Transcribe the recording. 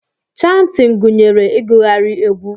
Chantin gunyere igughari egwu.